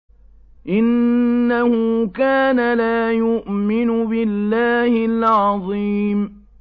إِنَّهُ كَانَ لَا يُؤْمِنُ بِاللَّهِ الْعَظِيمِ